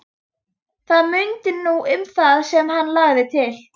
Það munaði nú um það sem hann lagði til.